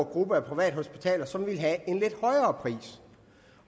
gruppe af privathospitaler som ville have en lidt højere pris